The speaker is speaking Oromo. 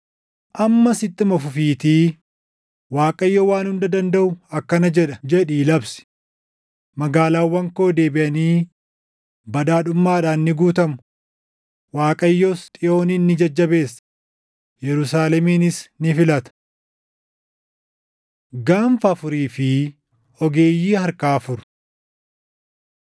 “Ammas ittuma fufiitii Waaqayyo Waan Hunda Dandaʼu akkana jedha, jedhii labsi: ‘Magaalaawwan koo deebiʼanii badhaadhummaadhaan ni guutamu; Waaqayyos Xiyoonin ni jajjabeessa; Yerusaalemis ni filata.’ ” Gaanfa Afurii fi Ogeeyyii Harkaa Afur